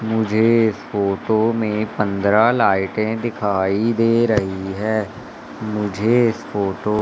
मुझे इस फोटो मे पंद्रह लाइटें दिखाई दे रही है मुझे इस फोटो --